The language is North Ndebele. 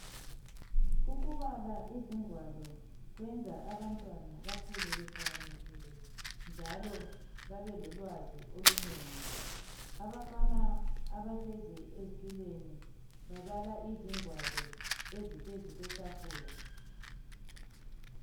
Ukubala izingwalo kwenza abantwana bakhule behlakaniphile njalo babelolwazi olunengi. Abafana abahlezi ezitulweni babala izingwalo eziphezu kwetafula.